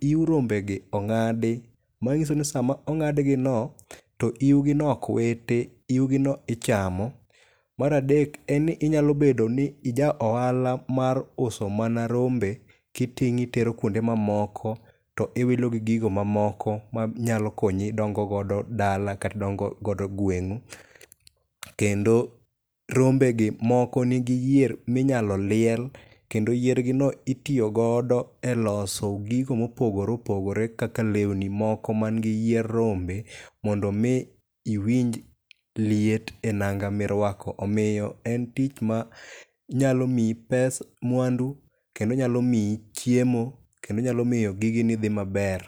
yiw rombegi ong'adi manyiso ni sama ong'ad gi ni to yiwgini ok witi, yiwgi ni ichamo. Mar adek, en ni inyalo bedo ni ija ohala mar uso mana rombe ka iting'o itero kuonde mamoko to iwilo gi gigo mamoko manyalo konyi dongo odo dala kata idongo godo gweng'u. Rombegi moko nigi yier minyalo liel to ilosogo gigo mopogore opogore kaka lewni gi moko man gi yie rombe mondo mi iwinj liet e nanga ma iruako omiyo en tich manyalo miyi mwandu kendo nyalo miyi chiemo to nyalo miyo gigeni dhi maber.